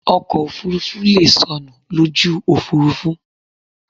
Ọkọ̀ òfurufú leè sọnù lójú òfúrufú